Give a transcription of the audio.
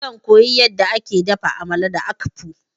Zan koya yadda ake dafa Amala da akpu.